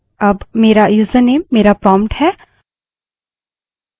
अब मेरा यूजरनेम मेरा prompt है